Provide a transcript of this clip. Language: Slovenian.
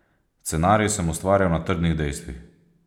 Scenarij sem ustvarjal na trdnih dejstvih.